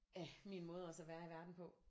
Af min måde også at være i verden på